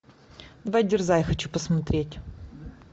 давай дерзай хочу посмотреть